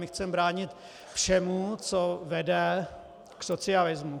My chceme bránit všemu, co vede k socialismu.